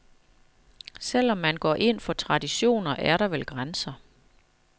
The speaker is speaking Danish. Selv om man går ind for traditioner, er der vel grænser.